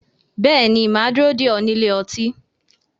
Bẹ́ẹ̀ ni, mà á dúró dè ọ́ ní ilé ọtí